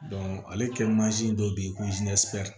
ale kɛ mansin dɔ bɛ yen ko